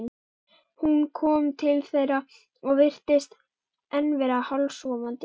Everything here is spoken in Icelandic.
Hún kom til þeirra og virtist enn vera hálfsofandi.